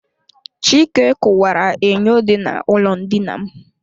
Chike ụkwara enyo dị na ụlọ ndina m.